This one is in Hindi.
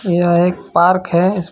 यह एक पार्क है इस पा --